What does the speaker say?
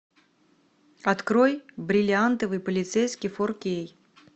открой бриллиантовый полицейский фор кей